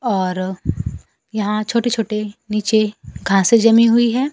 और यहां छोटे छोटे नीचे घासें जमी हुई हैं।